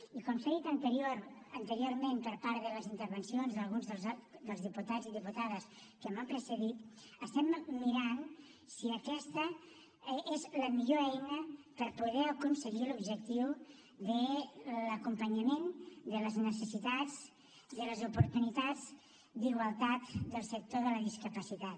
i com s’ha dit anteriorment en les intervencions d’alguns dels diputats i diputades que m’han precedit estem mirant si aquesta és la millor eina per poder aconseguir l’objectiu de l’acompanyament de les necessitats de les oportunitats d’igualtat del sector de la discapacitat